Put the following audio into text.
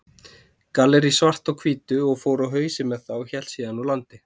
Gallerí Svart á Hvítu, og fór á hausinn með það og hélt síðan úr landi.